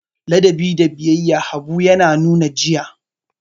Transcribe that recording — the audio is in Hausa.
Ladabi da biyayya Habu ya nuna jiya.